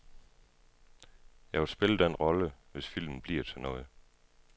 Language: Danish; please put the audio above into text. Jeg vil spille den rolle, hvis filmen bliver til noget.